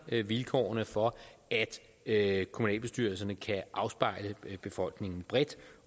vilkårene for at kommunalbestyrelserne kan afspejle befolkningen bredt